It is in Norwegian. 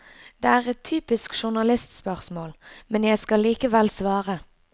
Det er et typisk journalistspørsmål, men jeg skal likevel svare.